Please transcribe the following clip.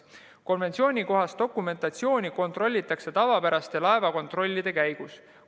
Konventsioonikohast dokumentatsiooni kontrollitakse tavapärase laevakontrolli käigus.